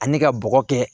Ani ka bɔgɔ kɛ